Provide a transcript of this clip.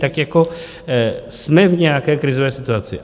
Tak jako jsme v nějaké krizové situaci.